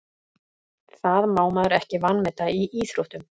Það má maður ekki vanmeta í íþróttum.